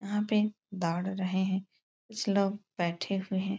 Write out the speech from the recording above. यहाँ पे दौड़ रहे हैं। कुछ लोग बैठे हुए हैं।